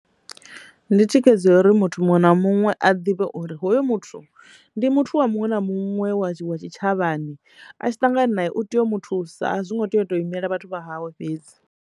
Ndi thikhedzo ya uri muthu muṅwe na muṅwe a ḓivhe uri hoyu muthu ndi muthu wa muṅwe na muṅwe wa tshi wa tshitshavhani a tshi ṱangana na u tea u mu thusa a zwi ngo tea u to imela vhathu vha hawe fhedzi.